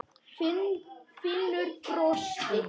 Finnur brosti.